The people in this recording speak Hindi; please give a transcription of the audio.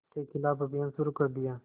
के ख़िलाफ़ अभियान शुरू कर दिया